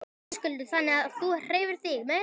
Höskuldur: Þannig að þú hreyfir þig meira?